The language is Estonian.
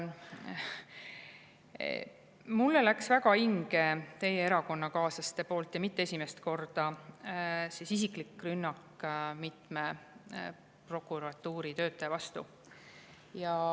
Mulle läks väga hinge teie erakonnakaaslaste, ja mitte esimest korda, isiklik rünnak mitme prokuratuuritöötaja vastu.